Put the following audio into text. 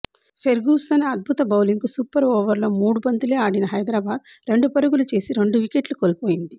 Ferguson అద్భుత బౌలింగ్కు super ఓవర్లో మూడు బంతులే ఆడిన హైదరాబాద్ రెండు పరుగులు చేసి రెండు వికెట్లు కోల్పోయింది